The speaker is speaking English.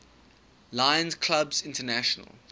lions clubs international